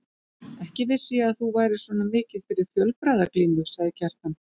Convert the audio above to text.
Ekki vissi ég að þú værir svona mikið fyrir fjölbragðaglímu, sagði Kjartan.